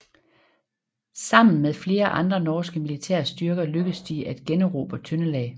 Sammen med flere andre norske militære styrker lykkedes de at generobre Trøndelag